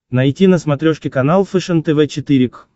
найти на смотрешке канал фэшен тв четыре к